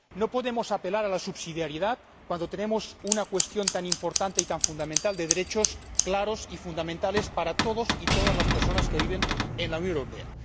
No podemos apelar a la subsidiariedad cuando tenemos una cuestión tan importante y tan esencial de derechos claros y fundamentales para todas las personas que viven en la Unión Europea.